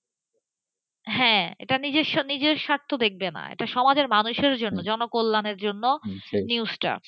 হ্যাঁ এটা নিজের স্বার্থ দেখবে নাসমাজের মানুষের জন্য জনকল্যাণের জন্য news টা,